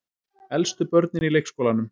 Elstu börnin í leikskólanum.